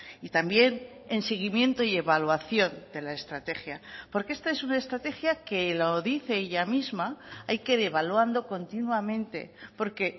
y también en seguimiento y evaluación de la estrategia porque esta es una estrategia que lo dice ella misma hay que devaluando continuamente porque